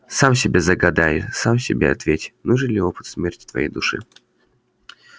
сам себе загадай сам себе ответь нужен ли опыт смерти твоей душе